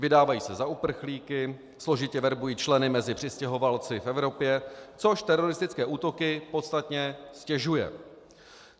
Vydávají se za uprchlíky, složitě verbují členy mezi přistěhovalci v Evropě, což teroristické útoky podstatně ztěžuje.